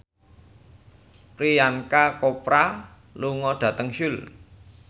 Priyanka Chopra lunga dhateng Seoul